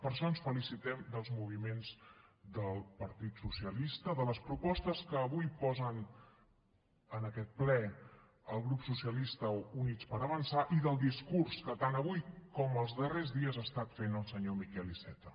per això ens felicitem dels moviments del partit socialista de les propostes que avui posen en aquest ple el grup socialistes i units per avançar i del discurs que tant avui com els darrers dies ha estat fent el senyor miquel iceta